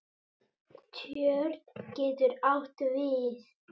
Tjörn getur átt við